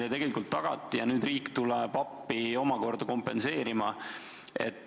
Ja nüüd tuleb omakorda riik appi kompenseerima.